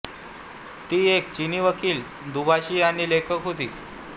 ती एक चीनी वकील दुभाषी आणि लेखक होती